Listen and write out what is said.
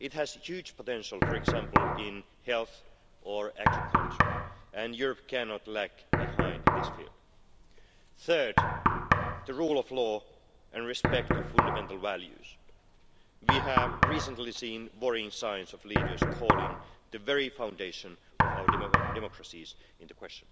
This has a huge potential, for example, in health or agriculture and Europe cannot lag behind in this field. Third, the rule of law and respect for fundamental values. We have recently seen worrying signs of leaders calling the very foundation of our democracies into question.